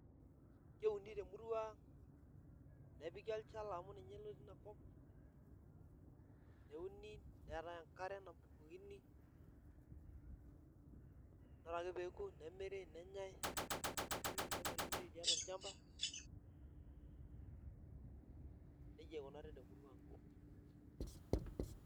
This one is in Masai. Keuni temurua ang' nepiki olchala amu ninye lotii inakop neuni neetai enkare nabukokini ore pee eoku nemiri nenyai nemirimiri tiatua olchamba neijia ikunari temurua ang'.